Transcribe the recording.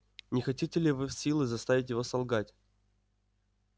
не хотите ли вы силой заставить его солгать